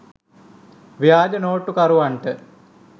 ව්‍යාජ නෝට්ටුකරුවන්ට